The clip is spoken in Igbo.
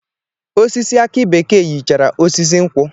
Osisi aki bekee yichara osisi nkwụ